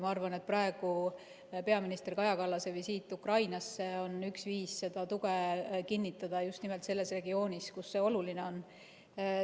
Ma arvan, et peaminister Kaja Kallase visiit Ukrainasse on üks viise seda tuge kinnitada just nimelt selles regioonis, kus see oluline on.